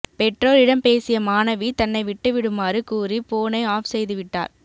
பெற்றோரிடம் பேசிய மாணவி தன்னை விட்டு விடுமாறு கூறி போனை ஆப் செய்துவிட்டார்